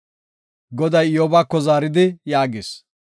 Goday Iyyobako zaaridi yaagis;